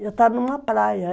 Eu estar numa praia.